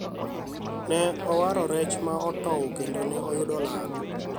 ne awaro rech ma otow kendo ne yudo lal